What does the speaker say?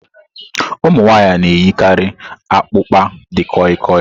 Ụmụ nwanyị na-eyikarị akpukpa di koi-koi.